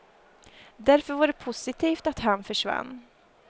Därför var det positivt att han försvann.